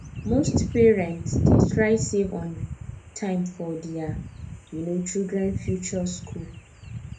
most parent dey try save on time for there um children future school